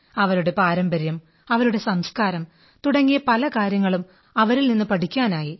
അവരുടെ പാരമ്പര്യം അവരുടെ സംസ്കാരം തുടങ്ങിയ പല കാര്യങ്ങളും അവരിൽ നിന്ന് പഠിക്കാനായി